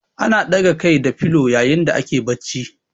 Ana ɗaga Kai da filo yayin da ake barci